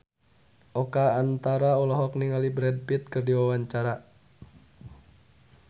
Oka Antara olohok ningali Brad Pitt keur diwawancara